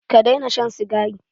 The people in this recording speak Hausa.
Ka daina shan sigari!